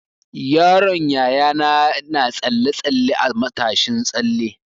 Yaron Yayana na tsalle-tsalle a matashin tsalle.